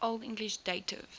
old english dative